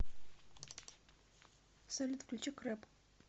салют включи крэп